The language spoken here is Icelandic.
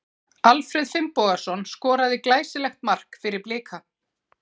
Alfreð Finnbogason skoraði glæsilegt mark fyrir Blika.